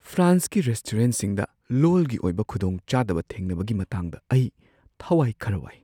ꯐ꯭ꯔꯥꯟꯁꯀꯤ ꯔꯦꯁꯇꯨꯔꯦꯟꯠꯁꯤꯡꯗ ꯂꯣꯜꯒꯤ ꯑꯣꯏꯕ ꯈꯨꯗꯣꯡꯆꯥꯗꯕ ꯊꯦꯡꯅꯕꯒꯤ ꯃꯇꯥꯡꯗ ꯑꯩ ꯊꯋꯥꯏ ꯈꯔ ꯋꯥꯏ ꯫